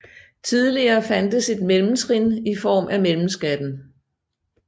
Tidligere fandtes et mellemtrin i form af mellemskatten